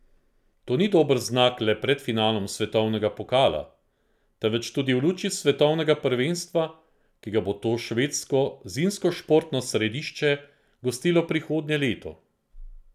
To ni dober znak le pred finalom svetovnega pokala, temveč tudi v luči svetovnega prvenstva, ki ga bo to švedsko zimskošportno središče gostilo prihodnje leto.